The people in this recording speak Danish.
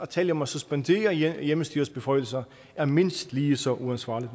tale om at suspendere hjemmestyrets beføjelser er mindst lige så uansvarligt